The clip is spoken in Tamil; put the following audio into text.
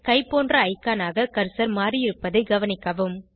கை பொன்ற ஐகானாக கர்சர் மாறியிருப்பதைக் கவனிக்கவும்